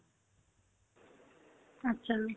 achcha